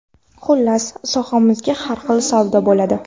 Xullas, sohamizda har xil savdo bo‘ladi.